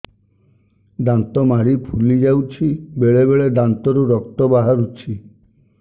ଦାନ୍ତ ମାଢ଼ି ଫୁଲି ଯାଉଛି ବେଳେବେଳେ ଦାନ୍ତରୁ ରକ୍ତ ବାହାରୁଛି